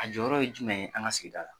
A jɔyɔrɔ ye jumɛn ye an ka sigida la.